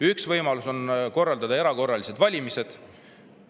Üks võimalus on korraldada erakorralised valimised.